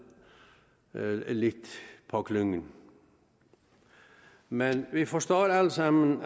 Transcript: lidt på klingen men vi forstår alle sammen